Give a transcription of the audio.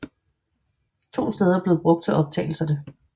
To steder blev brug til optagelserne